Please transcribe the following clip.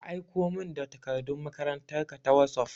Ka aiko min da takardun makarantan ka ta wosof!